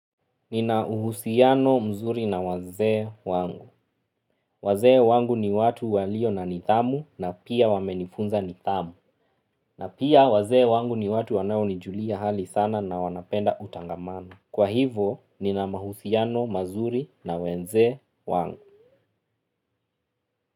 Nina uhusiano mzuri na wazee wangu. Wazee wangu ni watu walio na nithamu na pia wamenifunza nithamu. Na pia wazee wangu ni watu wanaonijulia hali sana na wanapenda utangamano. Kwa hivo, nina mahusiano mazuri na wenze wangu.